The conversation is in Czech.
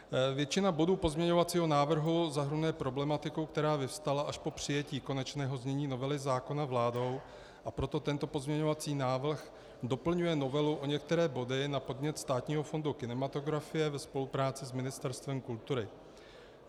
Většina bodů pozměňovacího návrhu zahrnuje problematiku, která vyvstala až po přijetí konečného znění novely zákona vládou, a proto tento pozměňovací návrh doplňuje novelu o některé body na podnět Státního fondu kinematografie ve spolupráci s Ministerstvem kultury.